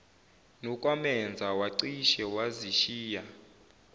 nokwamenza wacishe wazishiya